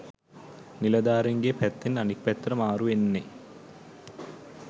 නිලධාරීන්ගේ පැත්තෙන් අනික් පැත්තට මාරු වෙන්නේ.